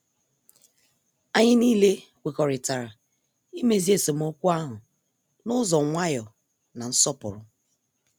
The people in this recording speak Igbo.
Anyị nile kwekọrịtara imezi esemokwu ahụ n' ụzọ nwayọ na nsọpụrụ.